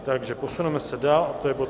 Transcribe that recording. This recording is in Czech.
Takže posuneme se dál a to je bod